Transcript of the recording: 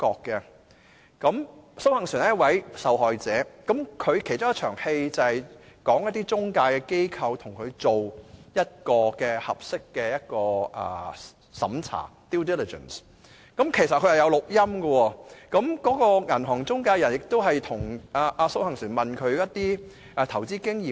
電影中，蘇杏璇是一位受害者，其中一幕是中介機構跟她做盡職審查，過程中有錄音，銀行中介人亦有詢問她的投資經驗。